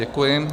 Děkuji.